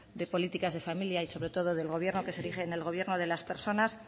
de políticas de familia y sobre todo del gobierno que se erige en el gobierno de las personas